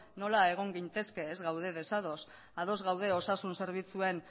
nola egon gintezke ez gaude desados ados gaude osasun zerbitzuen